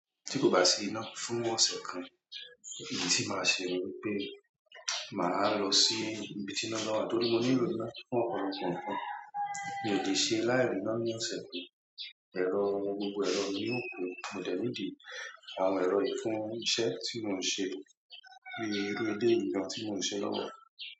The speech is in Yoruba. Tí kò bá sí iná fún ọ̀sẹ̀ kan, èyí tí màá ṣe ni wípé màá lọ sí ibi tí iná ba wà nítorí mo nílò iná fún ọ̀pọ̀lọpọ̀ ǹkan. Mi ò lè ṣe láìrí iná ní ọ̀sẹ̀ kan. Ẹ̀rọ, gbogbo ẹ̀rọ ni yóò kú, mo dẹ̀ ní di àwọn ẹ̀rọ yiì fún iṣẹ́ tí mò ń ṣe bíi irú eleyii gan tí mò ń ṣe lọ́wọ́.